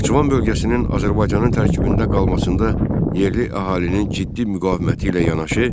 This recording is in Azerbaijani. Naxçıvan bölgəsinin Azərbaycanın tərkibində qalmasında yerli əhalinin ciddi müqaviməti ilə yanaşı